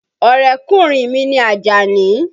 Ọ̀rẹ́kùnrin mi ni Àjàní.